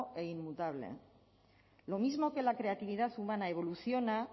e inmutable lo mismo que la creatividad humana evoluciona